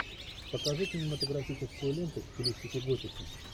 покажи кинематографическую ленту в стилистике готика